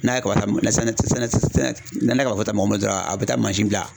N'a ye kaba ta sɛnɛ ti sɛnɛ ne ne ka f'ɔ tɛ mɔgɔ min dɔrɔn a bɛ taa mansin bila